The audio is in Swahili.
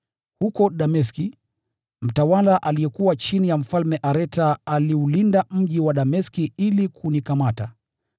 Huko Dameski, mtawala aliyekuwa chini ya Mfalme Areta aliulinda mji wa Dameski ili kunikamata.